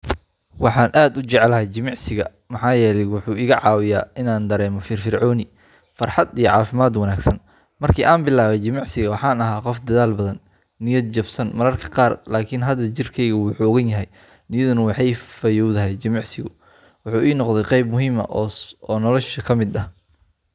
Waxaan aad u jeclahay jimicsiga maxaa yeelay wuxuu iga caawiyaa inaan dareemo firfircooni, farxad, iyo caafimaad wanaagsan. Markii aan bilaabay jimicsiga, waxaan ahaa qof daal badan, niyad jabsan mararka qaar, laakiin hadda jirkeyga wuu xoogan yahay, niyadduna way fayoowdahay. Jimicsigu wuxuu ii noqday qayb muhiim ah oo noloshayda ka mid ah.